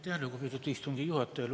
Aitäh, lugupeetud istungi juhataja!